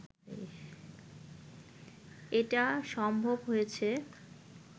এটা সম্ভব হয়েছে